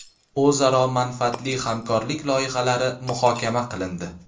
O‘zaro manfaatli hamkorlik loyihalari muhokama qilindi.